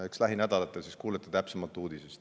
Eks lähinädalatel kuulete täpsemalt uudisest.